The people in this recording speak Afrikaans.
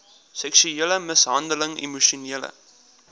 seksuele mishandeling emosionele